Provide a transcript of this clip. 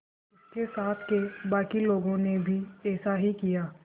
उसके साथ के बाकी लोगों ने भी ऐसा ही किया